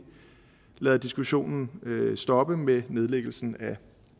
lader diskussionen stoppe med nedlæggelsen af